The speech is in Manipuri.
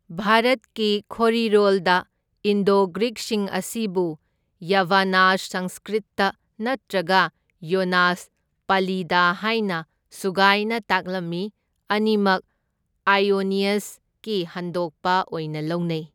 ꯚꯥꯔꯠꯀꯤ ꯈꯣꯔꯤꯔꯣꯜꯗ ꯏꯟꯗꯣ ꯒ꯭ꯔꯤꯛꯁꯤꯡ ꯑꯁꯤꯕꯨ ꯌꯥꯚꯥꯅꯥꯁ ꯁꯪꯁꯀ꯭ꯔ꯭ꯤꯠꯇ ꯅꯠꯇ꯭ꯔꯒ ꯌꯣꯅꯥꯁ ꯄꯥꯂꯤꯗꯥ ꯍꯥꯏꯅ ꯁꯨꯒꯥꯏꯅ ꯇꯥꯛꯂꯝꯃꯤ, ꯑꯅꯤꯃꯛ ꯑꯥꯏꯑꯣꯅꯤꯌꯟꯁ ꯀꯤ ꯍꯟꯗꯣꯛꯄ ꯑꯣꯏꯅ ꯂꯧꯅꯩ꯫